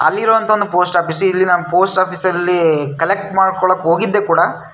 ಅಲ್ಲಿರುಅಂಥ ಒಂದು post office ಇಲ್ಲಿ ನಾನ್ ಪೋಸ್ಟ್ ಆಫೀಸ್ ಅಲ್ಲಿ ಕಲೆಕ್ಟ್ ಮಾಡ್ಕೊಳ್ಳೋಕೆ ಹೋಗಿದ್ದೆ ಕೂಡ --